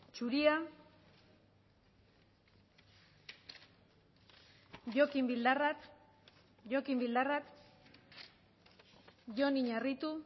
zuria jokin bildarratz jokin bildarratz jon iñarritu